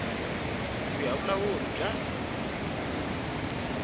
ku ya hi vulawuri bya